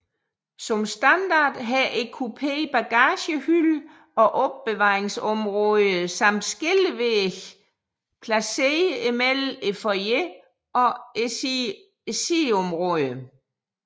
Som standard har kupéen bagagehylde og opbevaringsområder samt skillevægge placeret mellem foyeren og siddeområderne